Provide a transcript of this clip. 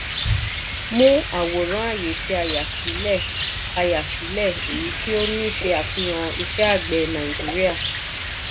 mú àwòrán ayé tí a yà sílẹ̀ a yà sílẹ̀ èyí ní ò ṣe àfihàn iṣẹ́ àgbẹ̀ nàìjíríà.